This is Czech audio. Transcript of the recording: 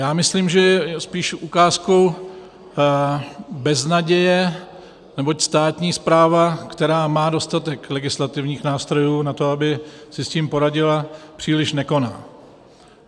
Já myslím, že je spíše ukázkou beznaděje, neboť státní správa, která má dostatek legislativních nástrojů na to, aby si s tím poradila, příliš nekoná.